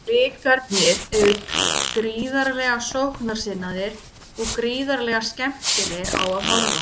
Blikarnir eru gríðarlega sóknarsinnaðir og gríðarlega skemmtilegir á að horfa.